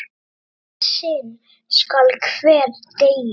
Eitt sinn skal hver deyja!